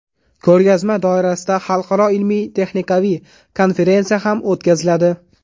Ko‘rgazma doirasida xalqaro ilmiy-texnikaviy konferensiya ham o‘tkaziladi.